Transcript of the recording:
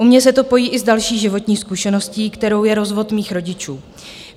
U mě se to pojí i s další životní zkušeností, kterou je rozvod mých rodičů.